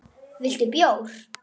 Viltu bjór?